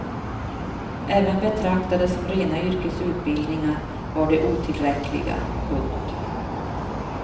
Även betraktade som rena yrkesutbildningar var de otillräckliga. punkt